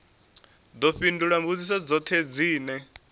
ḓo fhindula mbudziso dzoṱhe dzine